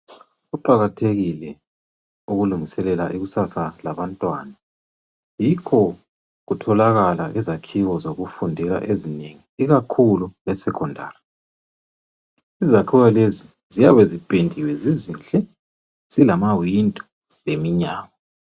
Kuqakathekile ukulungiselela ikusasa labantwana yikho kutholakala izakhiwo zokufundela ezinengi ikakhulu e secondary . Izakhiwo lezi ziyabe zipendiwe zizinhle zilama windo leminyango.